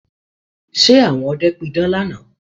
Ṣe àwọn ọdẹ pidán lánàá?